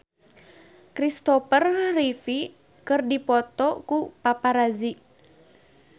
Kristopher Reeve dipoto ku paparazi